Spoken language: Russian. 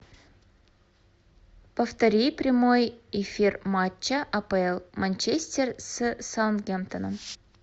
повтори прямой эфир матча апл манчестер с саутгемптоном